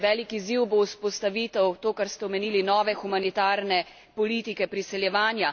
Velik izziv bo vzpostavitev to, kar ste omenili nove, humanitarne politike priseljevanja.